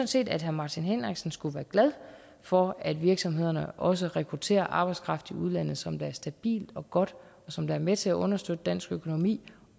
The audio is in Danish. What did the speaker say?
set at herre martin henriksen skulle være glad for at virksomhederne også rekrutterer arbejdskraft i udlandet som er stabilt og godt og som er med til at understøtte dansk økonomi